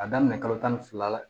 A daminɛ kalo tan ni fila la